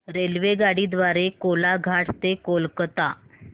रेल्वेगाडी द्वारे कोलाघाट ते कोलकता